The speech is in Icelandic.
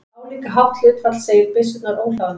Álíka hátt hlutfall segir byssurnar óhlaðnar.